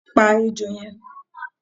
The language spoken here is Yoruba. pa ejó yẹn